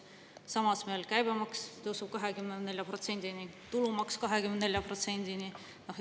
Samas tõuseb meil käibemaks 24%‑ni ja tulumaks 24%‑ni.